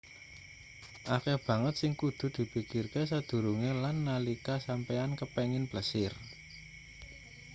akeh banget sing kudu dipikirke sadurunge lan nalika sampeyan kepingin plesir